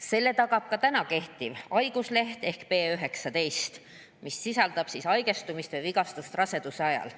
Selle tagab ka praegu kehtiv haigusleht, mis hõlmab haigestumist või vigastust raseduse ajal.